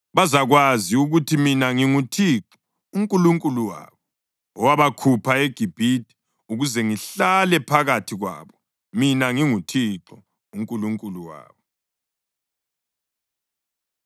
Bazakwazi ukuthi mina nginguThixo uNkulunkulu wabo, owabakhupha eGibhithe ukuze ngihlale phakathi kwabo. Mina nginguThixo uNkulunkulu wabo.”